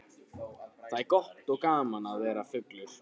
Það er gott og gaman að vera fullur.